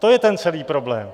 To je ten celý problém.